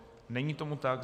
Není tomu tak.